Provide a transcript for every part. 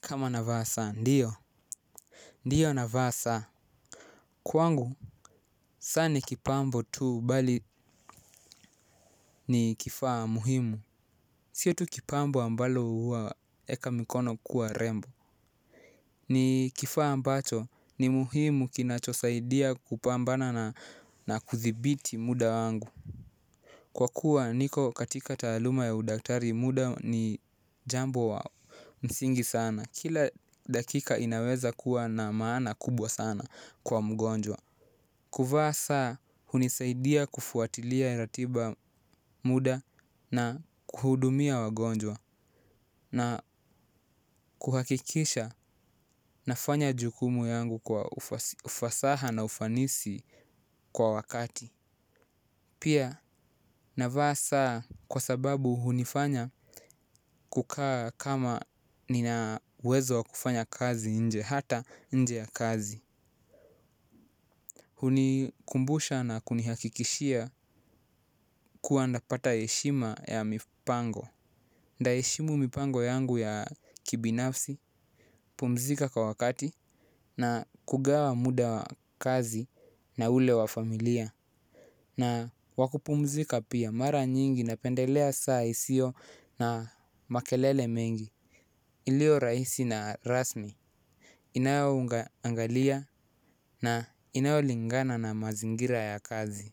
Kama navaa saa, ndiyo. Ndiyo navaa saa. Kwangu saa ni kipambo tu, bali ni kifaa muhimu. Sio tu kipambo ambalo huweka mikono kuwa rembo. Ni kifaa ambacho ni muhimu kinacho saidia kupambana na kuthibiti muda wangu. Kwa kuwa niko katika taaluma ya udaktari muda ni jambo msingi sana kila dakika inaweza kuwa na maana kubwa sana kwa mgonjwa. Kuvaa saa hunisaidia kufuatilia ratiba muda na kuhudumia wagonjwa na kuhakikisha nafanya jukumu yangu kwa ufasaha na ufanisi kwa wakati. Pia navaa saa kwa sababu hunifanya kukaa kama nina uwezo kufanya kazi nje hata nje ya kazi. Hunikumbusha na kunihakikishia kuwa napata heshima ya mipango. Nitaheshimu mpango yangu ya kibinafsi pumzika kwa wakati na kugawa muda wa kazi na ule wa familia. Na wa kupumzika pia, mara nyingi napendelea saa hisio na makelele mengi iliyo rahisi na rasmi. Inayo angalia na inayolingana na mazingira ya kazi.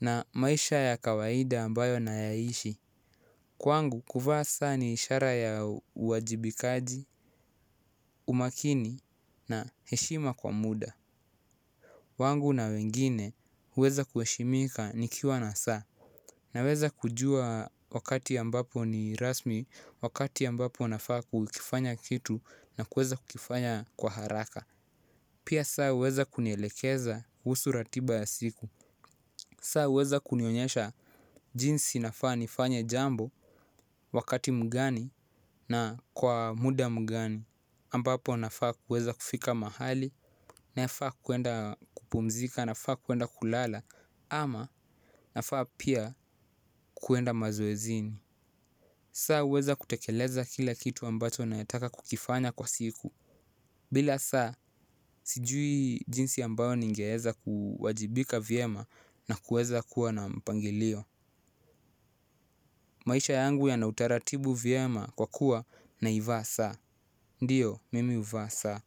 Na maisha ya kawaida ambayo na yaishi. Kwangu kuvaa saa ni ishara ya uwajibikaji, umakini na heshima kwa muda. Wangu na wengine huweza kuheshimika nikiwa na saa. Naweza kujua wakati ambapo ni rasmi wakati ambapo nafaa kukifanya kitu na kuweza kukifanya kwa haraka. Pia saa huweza kunielekeza kuhusu ratiba ya siku. Saa huweza kunionyesha jinsi nafaa nifanya jambo wakati mgani na kwa muda mgani ambapo nafaa kuweza kufika mahali nafaa, kuenda kupumzika, nafaa kuenda kulala ama nafaa pia kuenda mazoezini. Saa uweza kutekeleza kila kitu ambacho nataka kukifanya kwa siku. Bila saa, sijui jinsi ambayo ningeeza kuwajibika vyema na kuweza kuwa na mpangilio. Maisha yangu yanautaratibu vyema kwa kuwa naivaa saa, ndiyo, mimi huvaa saa.